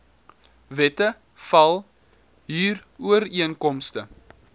wette val huurooreenkomste